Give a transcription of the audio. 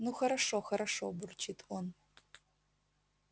ну хорошо хорошо бурчит он